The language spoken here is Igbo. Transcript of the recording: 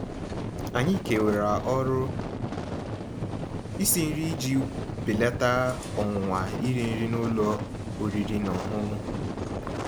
Ànyị́ kèwàrà ọ̀rụ́ ísi nrí íji bèlàtà ọ̀nwụ̀nwa írì nrí n'ụ́lọ̀ ọ̀rị́rị́ ná ọ̀ṅụ̀ṅụ̀.